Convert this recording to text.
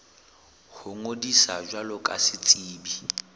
ho ngodisa jwalo ka setsebi